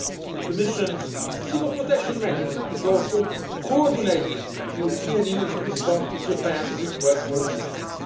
The Commission's Civil Protection Mechanism is also coordinating the European Union's response to Japan's request for assistance.